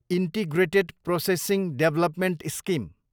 integrated processing development scheme